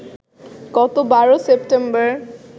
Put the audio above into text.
গত ১২ সেপ্টেম্বর